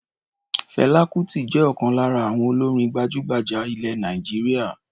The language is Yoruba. Fẹlá Kutì jẹ́ ọ̀kan lára àwọn olórin gbajúgbajà ilẹ̀ Nàìjíríà.